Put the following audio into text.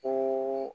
O